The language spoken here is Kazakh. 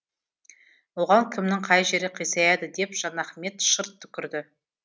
оған кімнің қай жері қисаяды деп жанахмет шырт түкірді